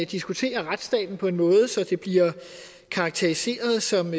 diskuterer retsstaten på en måde så det bliver karakteriseret som